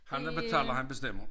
Ham der betaler han bestemmer